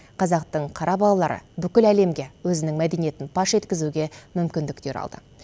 қазақтың қара балалары бүкіл әлемге өзінің мәдениетін паш еткізуге мүмкіндіктер алды